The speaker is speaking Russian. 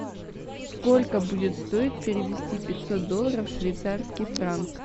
сколько будет стоить перевести пятьсот долларов в швейцарский франк